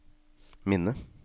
minne